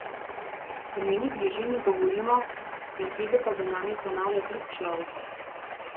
V njeni bližini govorimo, besede pa za nami ponavlja drug človek.